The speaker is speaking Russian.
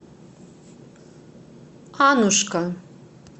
аннушка